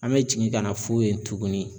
An be jigin ka n'a f'u ye tuguni